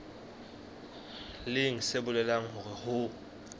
leng se bolelang hore ho